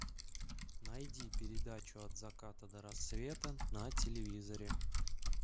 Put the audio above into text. найди передачу от заката до рассвета на телевизоре